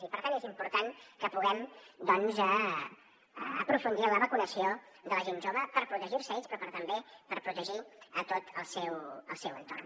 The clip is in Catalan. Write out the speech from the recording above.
i per tant és important que puguem doncs aprofundir en la vacunació de la gent jove per protegir se ells però també per protegir tot el seu entorn